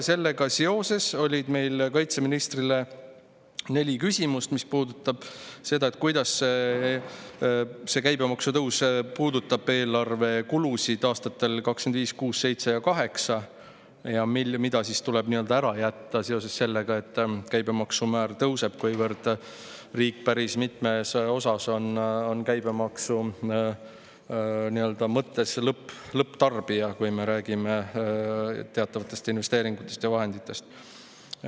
Sellega seoses oli meil kaitseministrile neli küsimust selle kohta, kuidas käibemaksu tõus puudutab eelarvekulusid aastatel 2025, 2026, 2027 ja 2028. Mida tuleb ära jätta seoses sellega, et käibemaksumäär tõuseb, kuivõrd riik päris mitmes osas on käibemaksu mõttes lõpptarbija, kui me räägime teatavatest investeeringutest ja vahenditest?